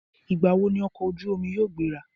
Ìgbà wo ni ọkọ̀ ojú omi yóò gbéra?